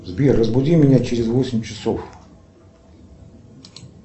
сбер разбуди меня через восемь часов